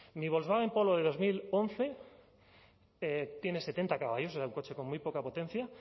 ni volkswagen polo de dos mil once tiene setenta caballos era un coche con muy poca potencia